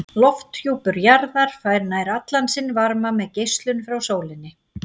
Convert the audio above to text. Lofthjúpur jarðar fær nær allan sinn varma með geislun frá sólinni.